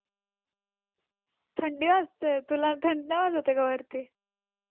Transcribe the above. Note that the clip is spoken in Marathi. थंडी वाजते आहे. तुला थंडी नाही वाजत आहे का वरती?